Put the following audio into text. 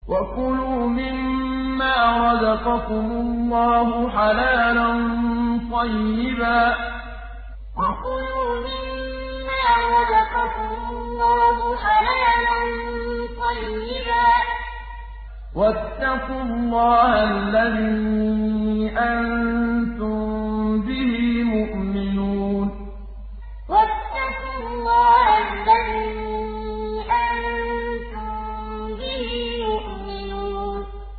وَكُلُوا مِمَّا رَزَقَكُمُ اللَّهُ حَلَالًا طَيِّبًا ۚ وَاتَّقُوا اللَّهَ الَّذِي أَنتُم بِهِ مُؤْمِنُونَ وَكُلُوا مِمَّا رَزَقَكُمُ اللَّهُ حَلَالًا طَيِّبًا ۚ وَاتَّقُوا اللَّهَ الَّذِي أَنتُم بِهِ مُؤْمِنُونَ